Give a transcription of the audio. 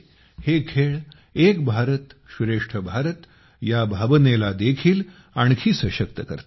हे खेळ एक भारतश्रेष्ठ भारत या भावनेला देखील आणखी सशक्त करतात